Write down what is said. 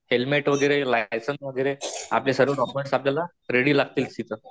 Helmet वैगरे, licence वैगरे आपले सर्व डोक्यूमेंट्स आपल्याला रेडी लागतील तिथं.